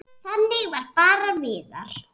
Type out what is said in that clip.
Þannig var bara Viðar.